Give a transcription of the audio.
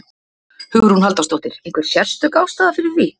Hugrún Halldórsdóttir: Einhver sérstök ástæða fyrir því?